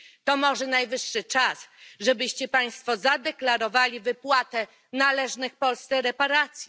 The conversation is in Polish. To może najwyższy czas, żebyście Państwo zadeklarowali wypłatę należnych Polsce reparacji?